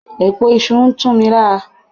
Èpo iṣu ń tún mi lára.